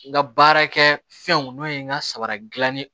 N ka baarakɛ fɛnw n'o ye n ka sabara dilan ye